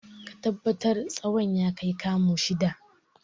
Ka tabbatar tsawon ya kai kamu shida!